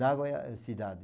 Nagoya é cidade.